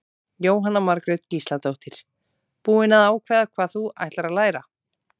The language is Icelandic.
Jóhanna Margrét Gísladóttir: Búin að ákveða hvað þú ætlar að læra?